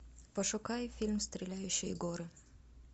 пошукай фильм стреляющие горы